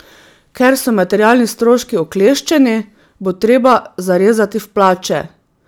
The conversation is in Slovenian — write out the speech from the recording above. Ker so materialni stroški okleščeni, bo treba zarezati v plače.